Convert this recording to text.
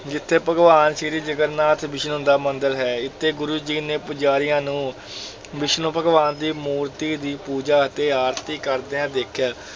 ਜਿੱਥੇ ਭਗਵਾਨ ਸ੍ਰੀ ਜਗਨਨਾਥ ਵਿਸ਼ਨੂੰ ਦਾ ਮੰਦਰ ਹੈ, ਇੱਥੇ ਗੁਰੂ ਜੀ ਨੇ ਪੁਜਾਰੀਆਂ ਨੂੰ ਵਿਸ਼ਨੂੰ ਭਗਵਾਨ ਦੀ ਮੂਰਤੀ ਦੀ ਪੂਜਾ ਅਤੇ ਆਰਤੀ ਕਰਦਿਆਂ ਦੇਖਿਆ,